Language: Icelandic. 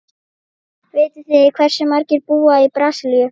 Vitið þið hversu margir búa í Brasilíu?